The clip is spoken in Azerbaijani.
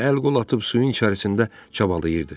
Əl qol atıb suyun içərisində çabalayırdı.